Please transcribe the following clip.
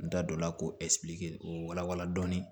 N da don la k'o k'o wala wala